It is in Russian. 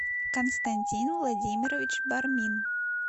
константин владимирович бармин